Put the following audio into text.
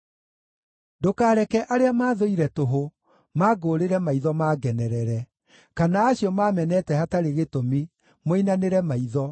Ndũkareke arĩa maathũire tũhũ mangũũrĩre maitho, mangenerere; kana acio maamenete hatarĩ gĩtũmi moinanĩre maitho.